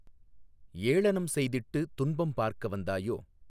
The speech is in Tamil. ஏளனம் செய்திட்டுத் துன்பம் பார்க்க வந்தாயோ